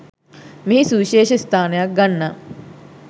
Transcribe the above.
මෙහි සුවිශේෂ ස්ථානයක් ගන්නා